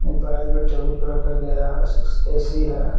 में टेबुल पे रखा गया है ऐ_सी है।